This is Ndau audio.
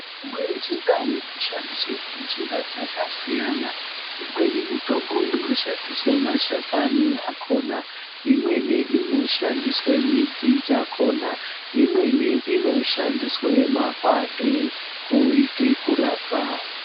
Mitombo yechindau inoshandiswe ngenjira dzakasiyana, imweni mitombo inoshandiswe mashakani akhona imweni inoshandiswe midzi dzakhona, imweni inoshandiswe makwande kuite kurapa.